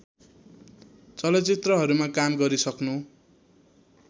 चलचित्रहरूमा काम गरिसक्नु